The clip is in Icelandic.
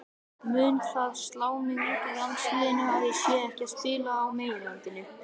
Mun það slá mig út úr landsliðinu að ég sé ekki að spila á meginlandinu?